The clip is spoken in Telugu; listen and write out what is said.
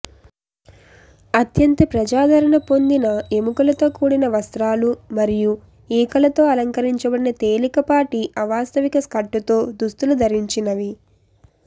అత్యంత ప్రజాదరణ పొందిన ఎముకలతో కూడిన వస్త్రాలు మరియు ఈకలతో అలంకరించబడిన తేలికపాటి అవాస్తవిక స్కర్టుతో దుస్తులు ధరించినవి